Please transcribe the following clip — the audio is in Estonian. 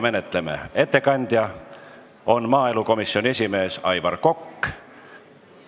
Ettekandja on maaelukomisjoni esimees Aivar Kokk.